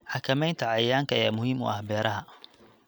Xakamaynta cayayaanka ayaa muhiim u ah beeraha.